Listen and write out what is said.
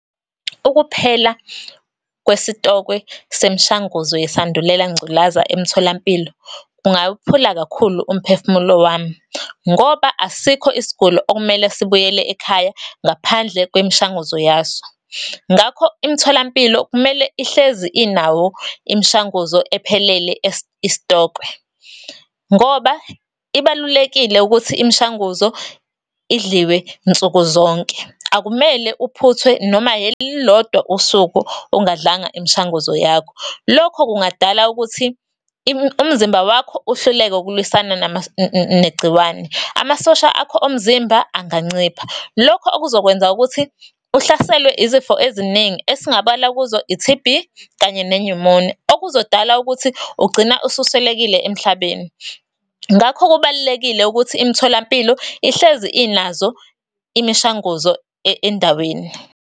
Ukuphela kwesitokwe semishanguzo yesandulela ngculaza emtholampilo, kungawuphula kakhulu umphefumulo wami. Ngoba, asikho isiguli okumele sibuyele ekhaya ngaphandle kwemishanguzo yaso. Ngakho, imitholampilo kumele ihlezi inawo imishanguzo ephelele isitokwe, ngoba ibalulekile ukuthi imishanguzo idliwe nsuku zonke. Akumele uphuthwe noma elilodwa usuku ungadlanga imishanguzo yakho. Lokho kungadala ukuthi umzimba wakho uhluleke ukulwiswana negciwane. Amasosha akho omzimba angancipha, lokho okuzokwenza ukuthi uhlaselwe izifo eziningi, esingabala kuzo, i-T_B, kanye ne-pneumonia, okuzodala ukuthi ugcine ususwelekile emhlabeni. Ngakho kubalulekile ukuthi imitholampilo ihlezi inazo imishanguzo endaweni.